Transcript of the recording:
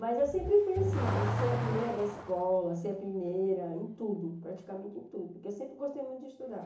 Mas eu sempre fui assim, de ser a primeira da escola, ser a primeira em tudo, praticamente em tudo, porque eu sempre gostei muito de estudar.